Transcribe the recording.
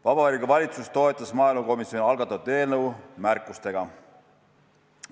Vabariigi Valitsus toetas maaelukomisjoni algatatud eelnõu märkustega.